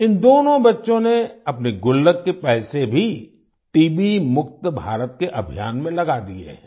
इन दोनों बच्चो ने अपने गुल्लक के पैसे भी टीबी मुक्त भारत के अभियान में लगा दिए हैं